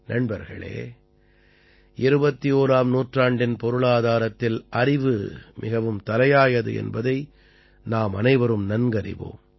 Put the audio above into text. நண்பர்களே 21ஆம் நூற்றாண்டின் பொருளாதாரத்தில் அறிவு மிகவும் தலையாயது என்பதை நாமனைவரும் நன்கறிவோம்